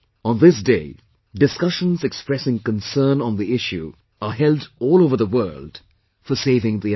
On this day, discussions expressing concern on the issue are held all over the world for saving the environment